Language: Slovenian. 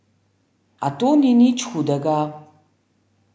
A to ni nič hudega!